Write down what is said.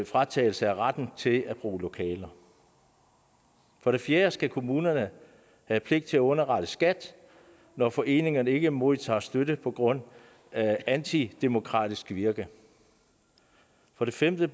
fratagelse af retten til at bruge lokaler for det fjerde skal kommunerne have pligt til at underrette skat når foreningerne ikke modtager støtte på grund af antidemokratisk virke for det femte